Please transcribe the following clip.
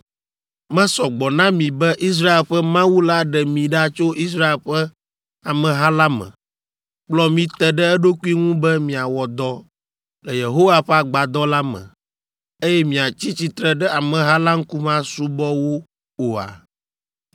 Mesɔ gbɔ na mi be Israel ƒe Mawu la ɖe mi ɖa tso Israel ƒe ameha la me, kplɔ mi te ɖe eɖokui ŋu be miawɔ dɔ le Yehowa ƒe Agbadɔ la me, eye miatsi tsitre ɖe ameha la ŋkume asubɔ wo oa?